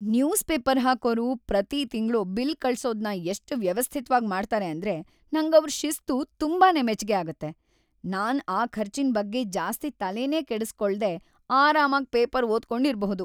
News paper ಹಾಕೋರು ಪ್ರತೀ ತಿಂಗ್ಳು ಬಿಲ್‌ ಕಳ್ಸೋದ್ನ ಎಷ್ಟ್‌ ವ್ಯವಸ್ಥಿತ್ವಾಗ್‌ ಮಾಡ್ತಾರೆ ಅಂದ್ರೆ ನಂಗವ್ರ್ ಶಿಸ್ತು ತುಂಬಾನೇ ಮೆಚ್ಗೆ ಆಗತ್ತೆ. ನಾನ್‌ ಆ ಖರ್ಚಿನ್‌ ಬಗ್ಗೆ ಜಾಸ್ತಿ ತಲೆನೇ ಕೆಡಿಸ್ಕೊಳ್ದೇ ಆರಾಮಾಗ್‌ ಪೇಪರ್‌ ಓದ್ಕೊಂಡಿರ್ಬಹುದು.